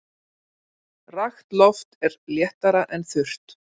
Rakt loft er léttara en þurrt.